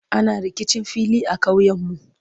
ana rikicin fili a ƙauyen. mu